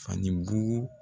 Ani bugu